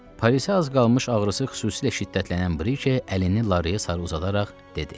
Parisə az qalmış ağrısı xüsusilə şiddətlənən Brike əlini Lareyə sarı uzadaraq dedi.